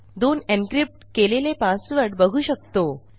2 encryptकेलेले पासवर्ड बघू शकतो